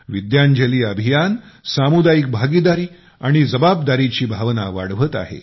विद्यांजली अभियान सामुदायिक भागीदारी आणि जबाबदारीची भावना वाढवत आहे